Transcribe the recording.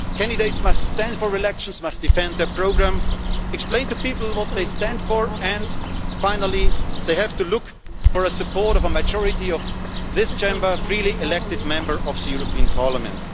Candidates must stand for election, must defend their programme, explain to people what they stand for and, finally, they have to look for the support of a majority of this Chamber of freely elected Members of the European Parliament.